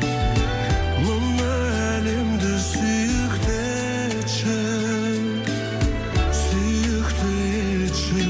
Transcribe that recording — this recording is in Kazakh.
мына әлемді сүйікті етші сүйікті етші